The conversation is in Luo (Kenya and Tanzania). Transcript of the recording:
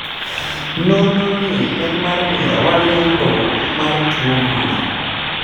Nonro ni en mar mio wa lendo mar tuo gundi